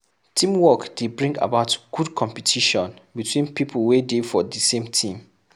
Teamwork dey bring about good competition between pipo wey dey for the same team